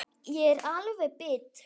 Ég er alveg bit!